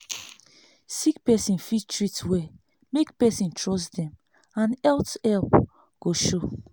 sick person fit treat well make person trust dem and health help go show.